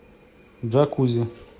джакузи